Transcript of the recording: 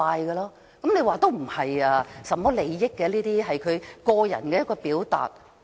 有人說，這事不涉及利益，只是他的個人表達。